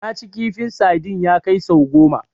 Naci kifin sadin ya kai sau goma